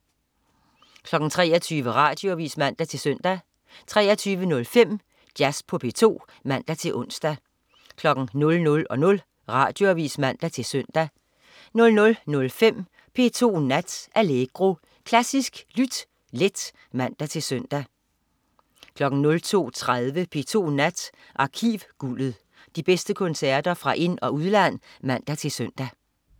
23.00 Radioavis (man-søn) 23.05 Jazz på P2 (man-ons) 00.00 Radioavis (man-søn) 00.05 P2 Nat. Allegro. Klassisk lyt let (man-søn) 02.30 P2 Nat. Arkivguldet. De bedste koncerter fra ind- og udland (man-søn)